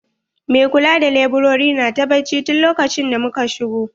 Mai kula da laburare na ta bacci tun lokacin da muka shigo.